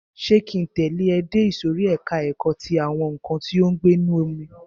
Ṣé ki ń tẹ̀lẹ́ ẹ dé ìsòrí ẹka ẹ̀kọ́ ti àwọn nǹkan tí ó ń gbé inú omi?